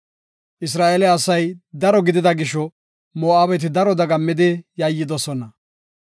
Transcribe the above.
Isra7eele asay daro gidida gisho, Moo7abeti daro dagammidi yayidosona.